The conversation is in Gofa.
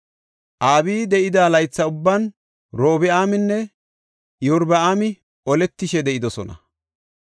Abiyi de7ida laytha ubban Robi7aaminne Iyorbaami oletishe de7idosona.